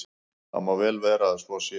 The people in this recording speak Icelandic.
Það má vel vera að svo sé.